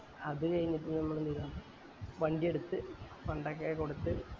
അത് കൈഞ്ഞിട് നമ്മൾ ന്ത് ചെയ്ത് വണ്ടി എടുത്ത് fund ഒക്കെ കൊടുത്ത്